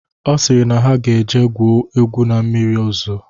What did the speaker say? Ọ sịrị na ha ga eje gwuo egwu ma mmiri zoo